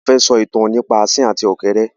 A fẹ́ sọ ìtàn nípa Asín àti ọ̀kẹ́rẹ́